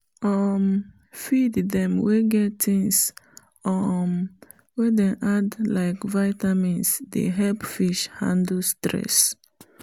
um feed them wey get things um wey dem add like viamins dey help fish handle stress